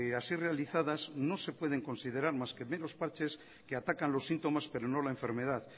así realizadas no se pueden considerar más que meros parches que atacan los síntomas pero no la enfermedad